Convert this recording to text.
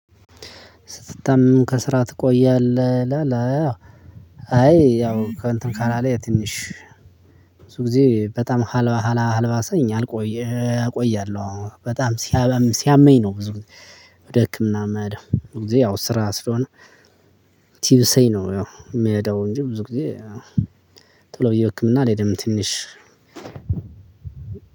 ስትታመም ከስራ ትቆያለህ? ይላለ አዎ አይ ያው እንትን ካላለ ትንሽ ብዙ ጊዜ በጣም ካልባሳኝ አልቆየ እቆያለሁ በጣም ሲያመኝ ነው። ብዙ ጊዜ ወደ ህክምና የምሄደው ብዙ ጊዜ ያው ስራ ስለሆነ። ቲብሰኝ ነው ያው የምሄደው እንጂ ብዙ ጊዜ ቶሎ ብዬ ህክምና አልሄድም። ትንሽ